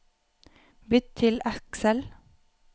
Bytt til Excel